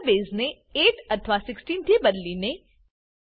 number બેઝને 8 અથવા 16 થી બદલીને